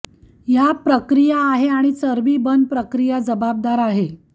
या प्रक्रिया आहे आणि चरबी बर्न प्रक्रिया जबाबदार आहे